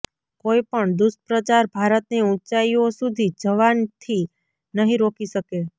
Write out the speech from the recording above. કોઈ પણ દુષ્પ્રચાર ભારતને ઊંચાઈઓ સુધી જવાથી નહીં રોકી શકે